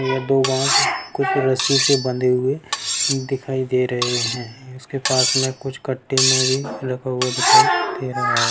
यहाँ दो रस्सी से बंधे हुए दिखाई दे रहे हैं इसके पास में कुछ कट्टे में भी रखा हुआ दिखाई दे रहा है।